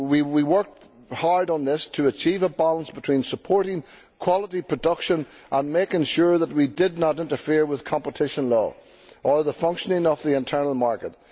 We worked hard on this to achieve a balance between supporting quality production and making sure that we did not interfere with competition law or the functioning of the internal market.